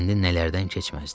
İndi nələrdən keçməzdi?